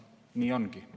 Nii ongi.